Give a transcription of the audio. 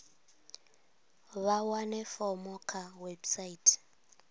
vha wane fomo kha website